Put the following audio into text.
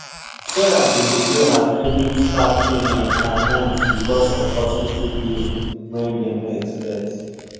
sarah been delay her credit card payment for months because of hospital bill wey dem no expect